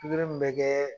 Pikiri mun bɛ kɛ